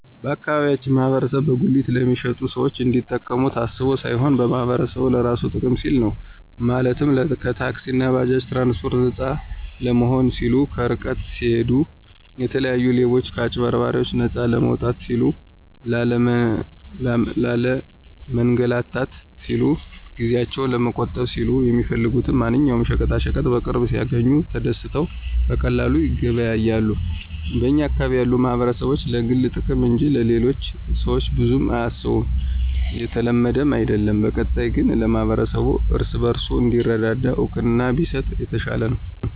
የአካባቢያችን ማህበረሰብ በጉሊት ለሚሸጡት ሰዎች እንዲጠቀሙ ታስቦ ሳይሆን ማህበረሰቡ ለራሱ ጥቅም ሲል ነው፤ ማለትም ከታክሲእና ከባጃጅ ትራንስፓርት ነፃ ለመሆን ሲሉ፣ ከርቀት ሲሂዱ የተለያዩ ሌቦችና ከአጭበርባሪዎች ነፃ ለመውጣት ሲሉ፣ ላለመንላታት ሲሉ፣ ጊዜአቸውን ለመቆጠብ ሲሉ፣ የሚፈልጉትን ማንኛውም ሸቀጣሸቀጥ በቅርብ ሲያግኙ ተደስተው በቀላሉ ይገበያያሉ። በኛ አካባቢ ያሉ ማህበረሰቦች ለግል ጥቅም እንጅ ለሌሎቹ ሰዎች ብዙም አያስቡም የተለመደም አይድለም። በቀጣይነት ግን ለማህበረሰቡ እርስ በርሱ እንዲረዳዳ እውቅና ቢሰጥ የተሻለ ነው።